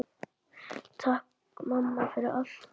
Takk, mamma, fyrir allt.